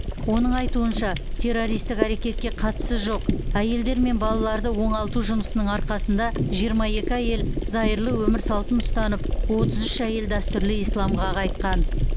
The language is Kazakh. оның айтуынша террористік әрекетке қатысы жоқ әйелдер мен балаларды оңалту жұмысының арқасында жиырма екі әйел зайырлы өмір салтын ұстанып отыз үш әйел дәстүрлі исламға қайтқан